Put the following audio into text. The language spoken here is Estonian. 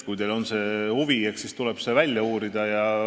Kui teil on huvi, eks siis tuleb see välja uurida.